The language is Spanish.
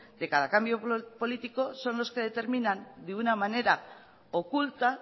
de cada cambio político son los que determinan de una manera oculta